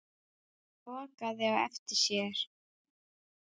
Hún lokaði á eftir sér.